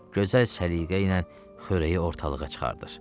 Gözəl səliqəylə xörəyi ortalığa çıxardır.